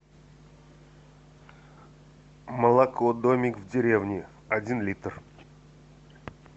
молоко домик в деревне один литр